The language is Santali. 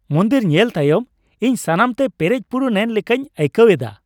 ᱢᱚᱱᱫᱤᱨ ᱧᱮᱞ ᱛᱟᱭᱚᱢ ᱤᱧ ᱥᱟᱱᱟᱢᱛᱮ ᱯᱮᱨᱮᱡᱼᱯᱩᱨᱩᱱ ᱮᱱ ᱞᱮᱠᱟᱧ ᱟᱹᱭᱠᱟᱹᱣ ᱮᱫᱟ ᱾